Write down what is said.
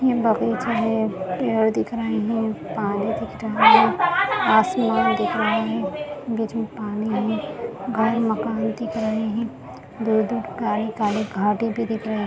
ये बगीचा है पेड़ दिख रहे है पानी दिख रहा है आसमान दिख रहा है बीच में पानी है गाय मकान दिख रहे हैं दूर-दूर काली-काली घाटी भी दिख रही --